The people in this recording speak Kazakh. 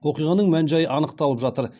оқиғаның мән жайы анықталып жатыр